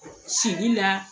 Sili la